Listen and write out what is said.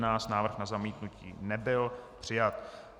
Návrh na zamítnutí nebyl přijat.